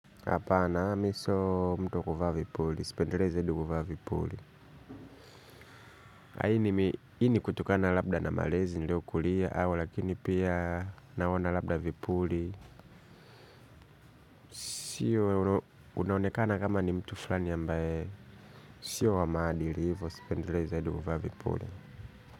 Hapana, mi sio mtu wa kuvaa vipuli. Sipendelei zaidi kuvaa vipuli. Hii ni kutokana labda na malezi niliokulia au lakini pia naona labda vipuli. Sio unaonekana kama ni mtu fulani ambaye sio wa maadili hivo. Sipendeleze edu kufa vipuli.